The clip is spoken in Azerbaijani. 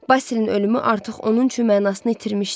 Basilın ölümü artıq onun üçün mənasını itirmişdi.